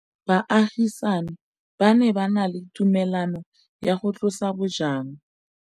Baagisani ba ne ba na le tumalanô ya go tlosa bojang.